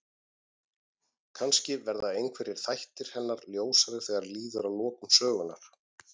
Kannski verða einhverjir þættir hennar ljósari þegar líður að lokum sögunnar.